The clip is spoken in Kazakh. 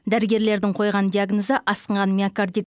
дәрігерлердің қойған диагнозы асқынған миокордит